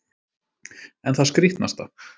En það skrítnasta